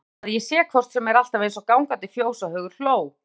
Hún segir að ég sé hvort sem er alltaf eins og gangandi fjóshaugur hló